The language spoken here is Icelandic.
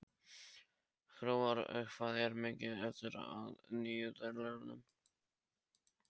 Hróar, hvað er mikið eftir af niðurteljaranum?